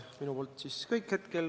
Praegu kõik.